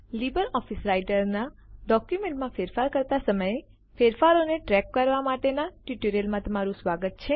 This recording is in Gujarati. લીબર ઓફીસ રાઈટરનાં ડોક્યુમેન્ટ માં ફેરફાર કરતા સમયે ફેરફારો ને ટ્રેક કરવા માટેના ટ્યુટોરીયલમાં તમારું સ્વાગત છે